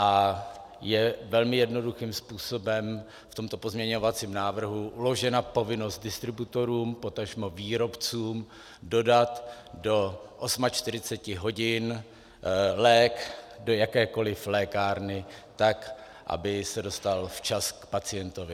A je velmi jednoduchým způsobem v tomto pozměňovacím návrhu uložena povinnost distributorům, potažmo výrobcům dodat do 48 hodin lék do jakékoli lékárny tak, aby se dostal včas k pacientovi.